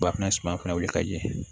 Ba fana suma fɛnɛ wili ka ɲɛ